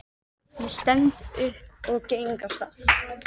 Ég stend upp og geng af stað.